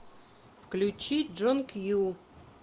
включи джон кью